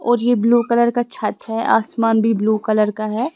और ये blue colour का छत है आसमान भी ब्लू कलर का है।